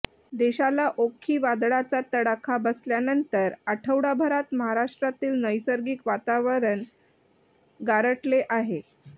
देशाला ओक्खी वादळाचा तडाखा बसल्यानंतर आठवडाभरात महाराष्ट्रातील नैसर्गिक वातावरण गारठले आहे